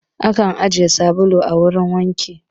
Akan ajiye sabulu a wurin wanka